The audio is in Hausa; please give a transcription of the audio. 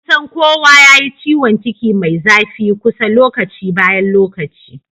kusan kowa yayi ciwanciki Mai zafi kusa lokaci bayan lokaci